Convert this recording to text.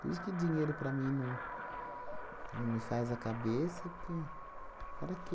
Por isso que dinheiro para mim não não me faz a cabeça, porque para quê?